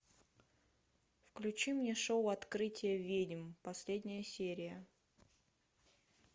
включи мне шоу открытие ведьм последняя серия